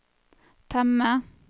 temme